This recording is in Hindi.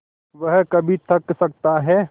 वह कभी थक सकता है